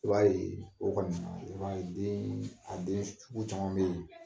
I b'a ye, o kɔni na, i b'a ye deen a den sugu caman be ye